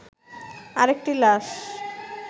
আরেকটি লাশ